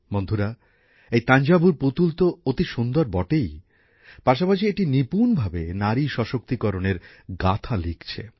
বন্ধুরা এই তাঞ্জাভুর পুতুল অতি সুন্দর তো বটেই পাশাপাশি এটি নিপুনভাবে নারী ক্ষমতায়নের গাথা লিখছে